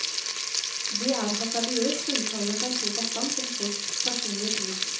Det er hasardiøst å uttale seg så bastant om folks personlige tvil.